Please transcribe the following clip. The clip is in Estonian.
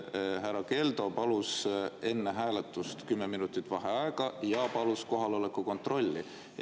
Härra Keldo palus enne hääletust kümme minutit vaheaega ja palus kohaloleku kontrolli.